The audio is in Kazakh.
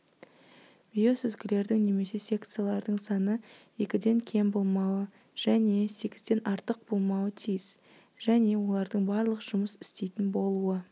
биосүзгілердің немесе секциялардың саны екіден кем болмауы және сегізден артық болмауы тиіс және олардың барлық жұмыс істейтін болуы